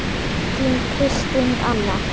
Þín, Kristín Anna.